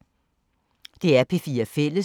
DR P4 Fælles